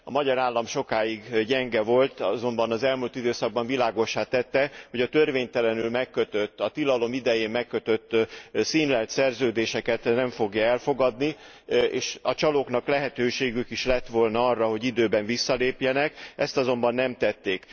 A magyar állam sokáig gyenge volt, azonban az elmúlt időszakban világossá tette, hogy a törvénytelenül megkötött, a tilalom idején megkötött színlelt szerződéseket nem fogja elfogadni, és a csalóknak lehetőségük is lett volna arra, hogy időben visszalépjenek, ezt azonban nem tették.